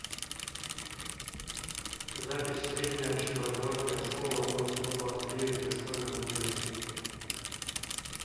запись средняя общеобразовательная школа номер сто двадцать девять с дошкольным отделением